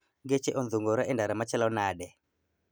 Geche odhungore e ndara machalo nade